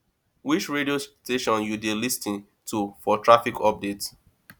which radio station you dey lis ten to for traffic updates